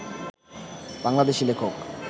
বাংলাদেশী লেখক